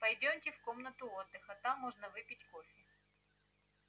пойдёмте в комнату отдыха там можно выпить кофе